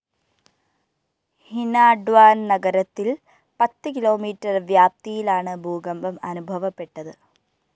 ഹിനാട്വാന്‍ നഗരത്തില്‍ പത്ത് കിലോമീറ്റർ വ്യാപ്തിയിലാണ് ഭൂകമ്പം അനുഭവപ്പെട്ടത്